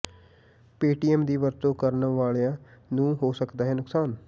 Paytm ਦੀ ਵਰਤੋਂ ਕਰਨ ਵਾਲਿਆਂ ਨੂੰ ਹੋ ਸਕਦਾ ਹੈ ਨੁਕਾਸਨ